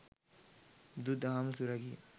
බුදු දහම සුරැකීම